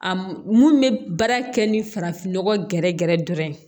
A mun bɛ baara kɛ ni farafinnɔgɔ gɛrɛ gɛrɛ dɔrɔn ye